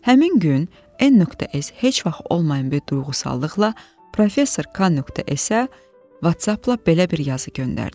Həmin gün N.S. heç vaxt olmayan bir duyğusallıqla professor K.S.-ə WhatsApp-la belə bir yazı göndərdi.